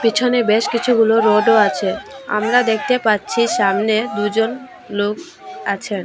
পেছনে বেশ কিছু হোলো রডও আছে আমরা দেখতে পাচ্ছি সামনে দুজন লোক আছেন।